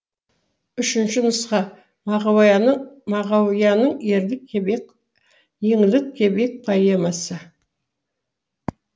үшінші нұсқа мағауияның еңлік кебек поэмасы